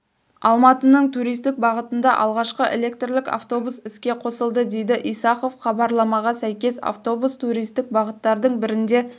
алматының туристік бағытында алғашқы электрлік автобус іске қосылды деді исахов хабарламаға сәйкес автобус туристік бағыттардың бірінде